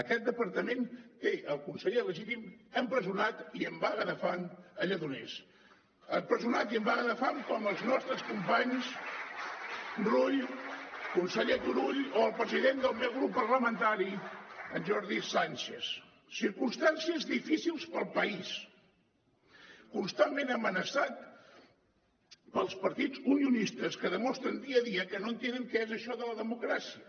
aquest departament té el conseller legítim empresonat i en vaga de fam a lledoners empresonat i en vaga de fam com els nostres companys rull conseller turull o el president del meu grup parlamentari en jordi sànchez circumstàncies difícils per al país constantment amenaçat pels partits unionistes que demostren dia a dia que no entenen què és això de la democràcia